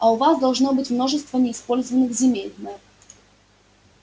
а у вас должно быть множество неиспользованных земель мэр